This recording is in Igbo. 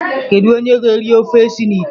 Kedu onye ga-eri ofe si na ite?